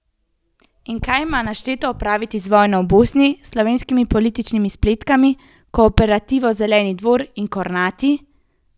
In kaj ima našteto opraviti z vojno v Bosni, slovenskimi političnimi spletkami, kooperativo Zeleni Dvor in Kornati?